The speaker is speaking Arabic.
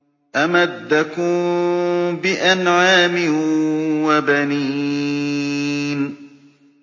أَمَدَّكُم بِأَنْعَامٍ وَبَنِينَ